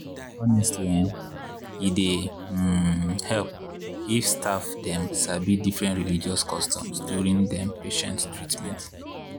honestly[um]e dy um help if staff dem sabi different religious customs during dem patient treatment.